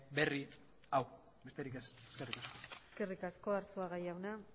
berri hau besterik ez eskerrik asko eskerrik asko arzuaga jauna